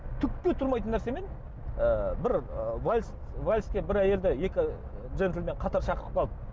түкке тұрмайтын нәрсемен ы бір ы вальс вальске бір әйелді екі джентельмен қатар шақырып қалды